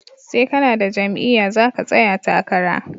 Sai kanada jam'iya zaka tsaya takara